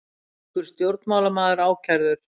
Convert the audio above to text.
Finnskur stjórnmálamaður ákærður